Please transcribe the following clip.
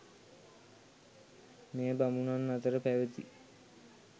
මෙය බමුණන් අතර පැවැති